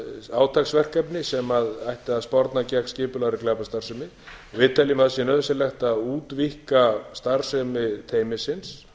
átaksverkefni sem ætti að sporna gegn skipulagðri glæpastarfsemi við teljum að sé nauðsynlegt að útvíkka starfsemi teymisins